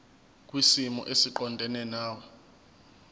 kwisimo esiqondena nawe